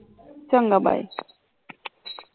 ਚੰਗਾ bye